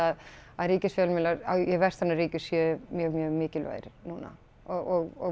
að að ríkisfjölmiðlar í vestrænum ríkjum séu mjög mjög mikilvægir núna og